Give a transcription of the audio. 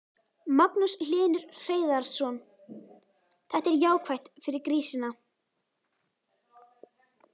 Magnús Hlynur Hreiðarsson: Þetta er jákvætt fyrir grísina?